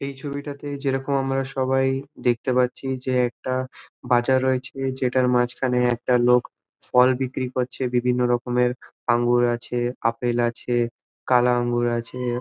এই ছবিটাতে যেইরকম আমরা সবাই দেখতে পারছি যে একটা বাজার রয়েছে যেটার মাঝখানে একটা লোক ফল বিক্রি করছে বিভিন্ন রকমের আঙ্গুর আছে আপেল আছে কালা অঙ্গুর আছে ।